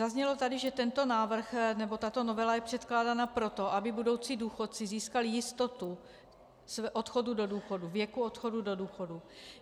Zaznělo tady, že tento návrh, nebo tato novela je předkládána proto, aby budoucí důchodci získali jistotu odchodu do důchodu, věku odchodu do důchodu.